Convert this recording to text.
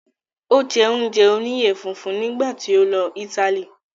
Ó jẹ́ oúnjẹ oníyẹ funfun nígbà tí ó lọ Italy